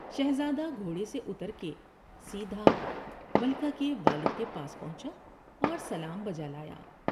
شہزادہ گھوڑے سے اتر کے سیدھا ملکہ کے والد کے پاس پہنچا اور سلام بجالایا ۔